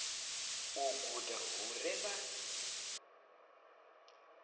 u guda hu re na